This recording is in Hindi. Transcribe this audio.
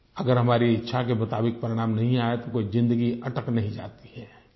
अगर हमारी इच्छा के मुताबिक परिणाम नहीं आया है तो कोई ज़िंदगी अटक नहीं जाती है